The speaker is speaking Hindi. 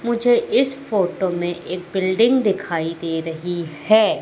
मुझे इस फोटो में एक बिल्डिंग दिखाई दे रही है।